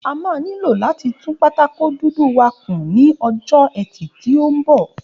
A máa nílò láti tún pátákó dúdú wá kún ní ọjọ́ ẹtì tí ó ń bọ̀